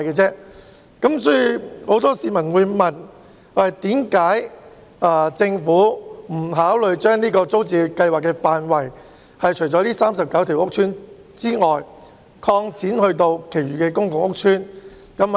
所以，很多市民便問政府為何不考慮把租置計劃的範圍，擴展至這39個屋邨以外的其他公共屋邨？